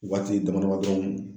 Waati dama dama dɔrɔnw